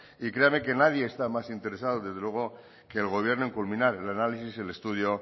y créame que nadie está más interesado desde luego que el gobierno en culminar el análisis y el estudio